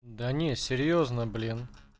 да не серьёзно блин